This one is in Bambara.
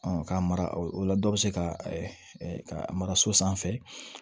k'a mara o la dɔ bɛ se ka mara so sanfɛ